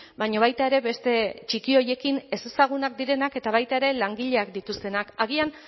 baina baita ere beste txiki horiekin ezezagunak direnak eta baita ere langileak dituztenak agian